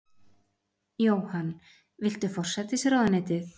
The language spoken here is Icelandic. Jóhann: Viltu forsætisráðuneytið?